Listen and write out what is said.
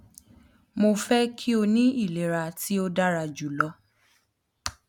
mo fẹ ki o ni ilera ti o dara julọ